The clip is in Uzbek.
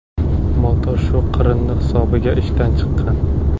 Motor shu qirindi hisobiga ishdan chiqqan.